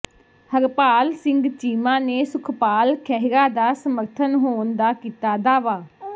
ਹਰਪਾਲ ਸਿੰਘ ਚੀਮਾ ਨੇ ਸੁਖਪਾਲ ਖਹਿਰਾ ਦਾ ਸਮਰਥਨ ਹੋਣ ਦਾ ਕੀਤਾ ਦਾਅਵਾ